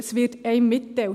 Es wird einem mitgeteilt.